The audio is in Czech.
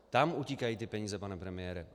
Tam utíkají ty peníze, pane premiére.